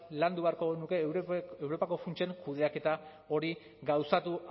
landu beharko genuke europako funtsen kudeaketa hori gauzatu